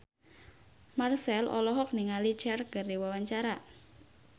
Marchell olohok ningali Cher keur diwawancara